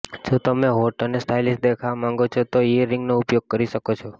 જો તમે હોટ અને સ્ટાઇલિશ દેખાવા માંગો છો તો ઇયરરિંગનો ઉપયોગ કરી શકો છો